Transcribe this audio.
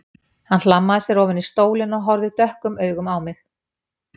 Hann hlammaði sér ofan í stólinn og horfði dökkum augum á mig.